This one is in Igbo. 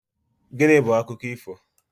Gịnị bu akụkọ ifo?